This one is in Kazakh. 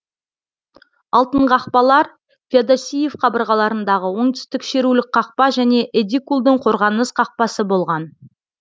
алтын қақпалар феодосиев қабырғаларындағы оңтүстік шерулік қақпа және едикулдің қорғаныс қақпасы болған